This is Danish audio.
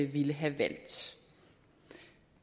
ville have valgt